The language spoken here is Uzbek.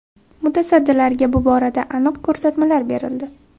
Mutasaddilarga bu borada aniq ko‘rsatmalar berildi.